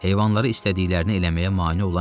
Heyvanları istədiklərini eləməyə mane olan yox idi.